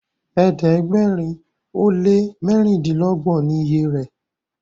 ẹ̀ẹ́dẹ̀gbẹ̀rin o lẹ mẹrindilogun ni ìyè rẹ.